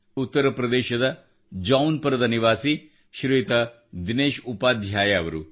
ಉತ್ತರ ಪ್ರದೇಶದ ಜೌನ್ಪು ರದ ನಿವಾಸಿ ಶ್ರೀಯುತ ದಿನೇಶ್ ಉಪಾಧ್ಯಾಯ ಅವರು